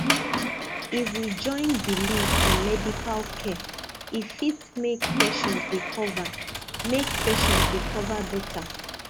if we join belief with medical care e fit make patient recover make patient recover better